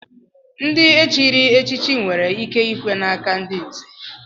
Ndị e chiri echichi nwere ike ikwe n'aka ndị nzè.